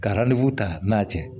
Ka ta n'a cɛ